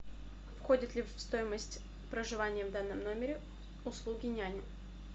входит ли в стоимость проживание в данном номере услуги няни